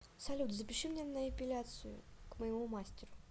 салют запиши меня на эпиляцию к моему мастеру